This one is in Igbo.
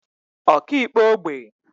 ọkaikpe ógbè